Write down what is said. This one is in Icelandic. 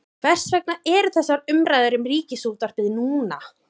Hvers vegna eru þessar umræður um Ríkisútvarpið núna?